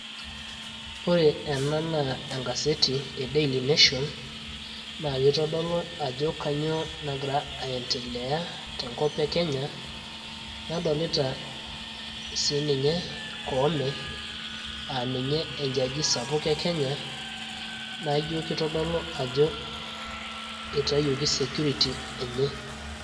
Ore enaa enkaseti e daily nation naa kitodolu ajo kainyioo nagira aendelea tenkop e Kenya nadolita sii ninye Koome aa ninye e jaji sapuk e Kenya ijo kitodolu ajo eitayioki security enye.